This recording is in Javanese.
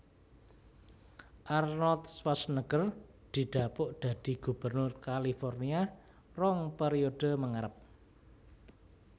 Arnold Schwarzenegger didapuk dadi gubernur California rong periode mengarep